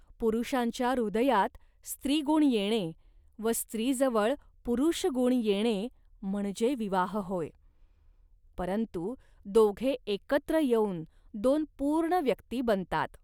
पुरुषांच्या हृदयात स्त्रीगुण येणे व स्त्रीजवळ पुरुषगुण येणे म्हणजे विवाह होय. परंतु दोघे एकत्र येऊन दोन पूर्ण व्यक्ती बनतात